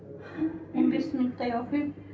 он бес минуттай оқимын